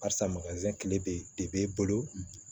Asa kile bɛ de b'e bolo